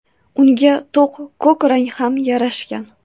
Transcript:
Unga to‘q ko‘k rang ham yarashgan.